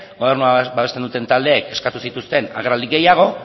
gobernua babesten duten taldeek eskatu zituzten agerraldi gehiago